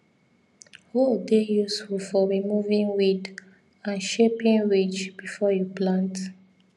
hoe dey useful for removing weed and shaping ridge before you plant